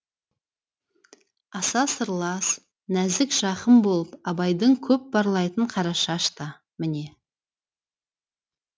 аса сырлас нәзік жақын болып абайдың көп барлайтын қарашаш та міне